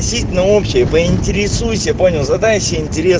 на общее поинтересуйся понял задайся интересом